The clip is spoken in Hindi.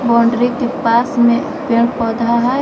बाउंड्री के पास में पेड़ पौधा है।